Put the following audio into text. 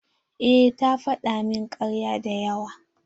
Eh ta faɗa min karya da yawa.